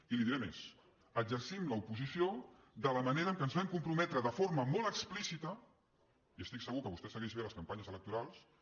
i li diré més exercim l’oposició de la manera a què ens vam comprometre de forma molt explícita i estic segur que vostè segueix bé les campanyes electorals